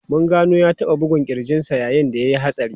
Mun gano ya taba bugun kirjin sa yayin da ya yi hatsari.